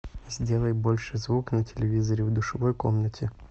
сделай больше звук на телевизоре в душевой комнате